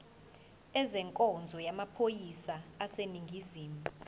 ezenkonzo yamaphoyisa aseningizimu